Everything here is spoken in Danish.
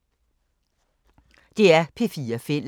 DR P4 Fælles